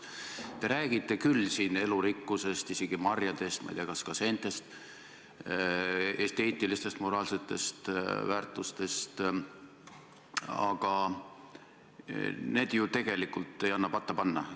Te räägite siin elurikkusest, isegi marjadest, ma ei tea, kas ka seentest, esteetilistest, moraalsetest väärtustest, aga need ju tegelikult ei anna patta panna.